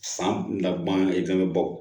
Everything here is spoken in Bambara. San laban i fɛnɛ be bɔ